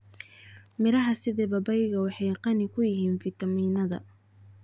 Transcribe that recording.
Miraha sida babaygu waxay qani ku yihiin fiitamiinnada.